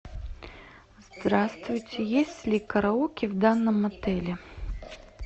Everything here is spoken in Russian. здравствуйте есть ли караоке в данном отеле